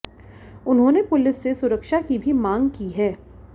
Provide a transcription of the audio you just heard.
उन्होंने पुलिस से सुरक्षा की भी मांग की है